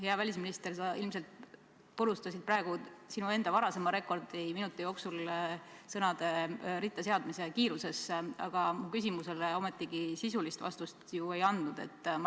Hea välisminister, sa ilmselt purustasid praegu sinu enda varasema rekordi minuti jooksul sõnade ritta seadmise kiiruses, aga mu küsimusele ometigi sisulist vastust ei andnud.